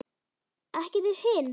Ekki þið hin!